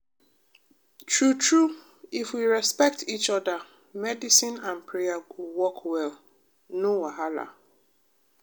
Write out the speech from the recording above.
true true if we respect each oda medicine and prayer go work well no wahala.